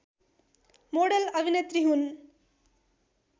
model अभिनेत्री हुन्